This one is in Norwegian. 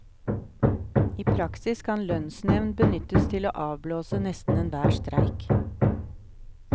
I praksis kan lønnsnevnd benyttes til å avblåse nesten enhver streik.